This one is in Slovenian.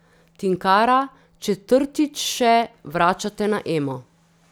Tinkara, četrtič še vračate na Emo.